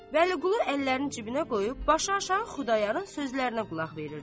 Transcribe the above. Vəliqulu əllərini cibinə qoyub, başıaşağı Xudayarın sözlərinə qulaq verirdi.